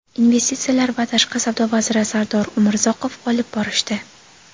investitsiyalar va tashqi savdo vaziri Sardor Umurzoqov olib borishdi.